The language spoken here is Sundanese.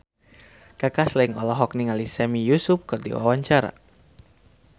Kaka Slank olohok ningali Sami Yusuf keur diwawancara